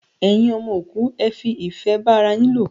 Ẹyin ọmọ òkú, ẹ fi ìfẹ́ bá ara yín lò!